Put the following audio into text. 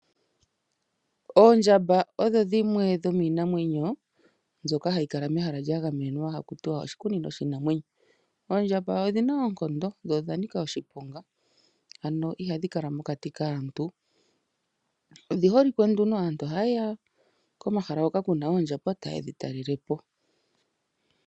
Oondjamba odho dhimwe dhoominamwenyo mbyoka ha yi kala mehala lyagamenwa hakutiwa oshikunino shiinamwenyo. Oondjamba odhina oonkondo, dho odha nika oshiponga. Ano ihadhi kala mokati kaantu. Odhi holike, aantu ohaye ya komahala ngoka kuna oondjamba, taye dhi talela po.